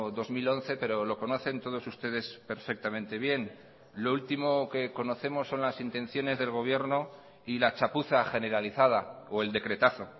dos mil once pero lo conocen todos ustedes perfectamente bien lo último que conocemos son las intenciones del gobierno y la chapuza generalizada o el decretazo